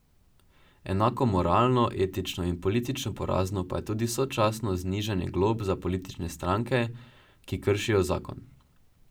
Enako moralno, etično in politično porazno pa je tudi sočasno znižanje glob za politične stranke, ki kršijo zakon.